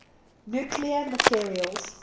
nuclear materials